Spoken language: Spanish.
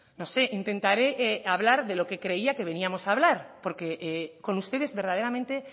no sé intentaré hablar de lo que creía que veníamos a hablar porque con ustedes verdaderamente